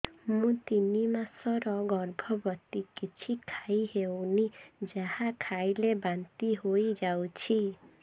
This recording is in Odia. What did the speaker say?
ମୁଁ ତିନି ମାସର ଗର୍ଭବତୀ କିଛି ଖାଇ ହେଉନି ଯାହା ଖାଇଲେ ବାନ୍ତି ହୋଇଯାଉଛି